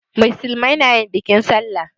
Musulmai na yin bikin sallah.